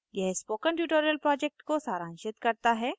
यह spoken tutorial project को सारांशित करता है